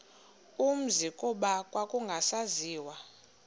umzi kuba kwakungasaziwa